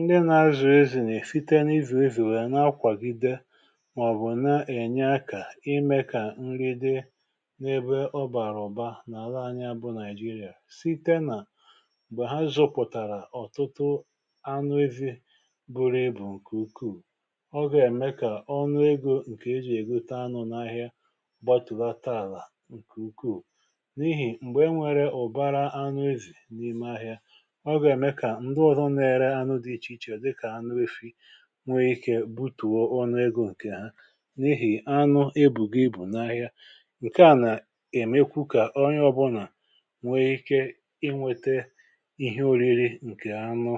ndị na-azụ̀ ezì nà-èfite n’izù ezì wèe nà-akwàgide màọ̀bụ̀ na-ènye akà imė kà nri di n’ebe ọ bàrà ụ̀ba nà ala anya bụ nàịjirịà site nà m̀gbè ha zụpụ̀tàrà ọ̀tụtụ anụ ezi̇ bụrụ ibù ǹkè ukwuù ọ gà-ème kà ọṅụ egȯ ǹkè ejì ègote anụ n’ahịa gbatùlata àlà ǹkè ukwuù n’ihì m̀gbè e nwere ụ̀bara anụ ezì n’ime ahịa nwee ike butùo ọ nà egȯ ǹkè ha n’ihì anụ ebù gị bụ̀ n’ahịa ǹkè a nà-èmekwu kà onye ọ̀bụlà nwee ike inwete ihe ȯriri ǹkè anụ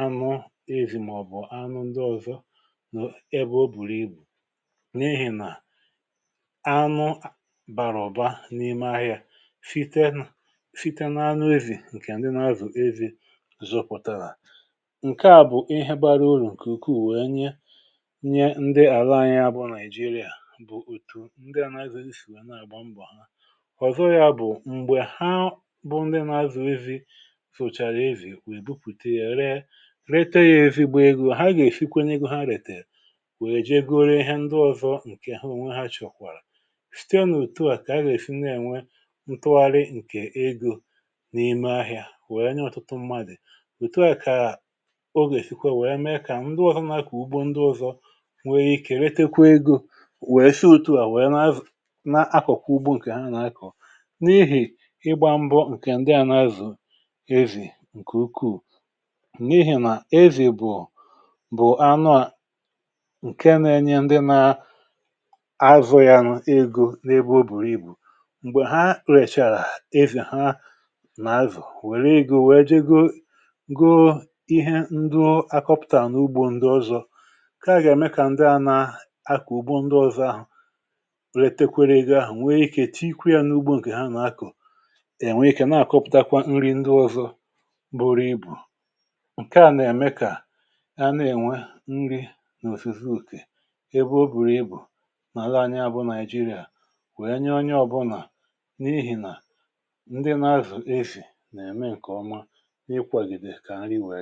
anụ ezi̇ màọ̀bụ̀ anụ ndị ọ̀zọ ebe o bùrù ibù n’ehì nà anụ bàrà ọ̀ba n’ime ahịa fite n’fite n’anụ ezi̇ ǹkè àndị na-azụ̀ ezi̇ ǹke à bụ̀ ihe bara olu̇ ǹkè ukwuu wèe nye nye ndị àla anyi abụọ nàịjirịà bụ̀ òtu ndị à nàzụ nsìwè nà àgba mbọ̀ ha kwàzọ ya bụ̀ m̀gbè ha bụ ndị nà azụ̀ ezi fụ̀chàrà ezì wèe bupùte yà ree rete ya èzìgbè egȯ ha gà-èfikwenye egȯ ha retèrè wèe jegoro ihe ndị ọ̀zọ ǹkè hu onwe ha chọ̀kwàrà site na òtù a kà a gà-èsi na-ènwe ntụgharị ǹkè egȯ n’ime ahịà wèe nye ọtụtụ mmadị̀ o nwè eshikwa wèe mee kà ndi ọzọ̇ na-akọ̀ ugbo ndi ọzọ̇ nwèe ike retekwa egȯ wèe shi òtù a wèe n’akọ̀kọ̀ wèe n’akọ̀kọ̀ ugbo ǹkè ha nà-akọ̀ n’ihì ịgbȧ mbọ̀ ǹkè ndi à n’azụ̀ ezì ǹkè ukwuù n’ihì nà ezì bụ̀ bụ̀ anụ à ǹke na-enye ndi nà-azụ̀ ya n’egȯ n’ebe o bùrù ibù m̀gbè ha rechara ezì ha n’azụ̀ wèe egȯ wèe jego ihe ndu akọpụtà na ugbȯ ndị ọzọ̇ ǹke a gà-ème kà ndị ahụ̀ akà ùgbo ndị ọzọ̇ ahụ̀ letekwere ègwè ahụ̀ nwèe ikė tikwȧ ya n’ugbo ǹkè ha nà-akọ̀ è nwee ikė na-àkọpụtakwa nri̇ ndị ọzọ bụrụ ibù ǹke a nà-ème kà a na-ènwe nri n’òfizu ùkè ebe o bùrù ibù nà lee anya abụ nàịjirịa wèe nya onye ọbụlà n’ihì nà ndị na-azụ̀ ezì nà-ème ǹkè ọma ǹkẹ̀ ọ